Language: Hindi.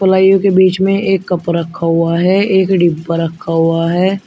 पलाइयों के बीच में एक कप रखा हुआ है एक डिब्बा रखा हुआ है।